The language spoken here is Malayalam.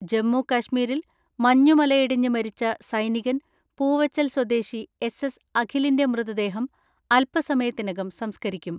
ജമ്മു കശ്മീരിൽ മഞ്ഞുമലയിടിഞ്ഞ് മരിച്ച സൈനികൻ പൂവച്ചൽ സ്വദേശി എസ് എസ് അഖിലിന്റെ മൃതദേഹം അൽപ്പ സമയത്തിനകം സംസ്കരിക്കും.